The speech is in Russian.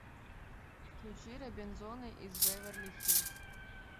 включи робинзоны из беверли хиллз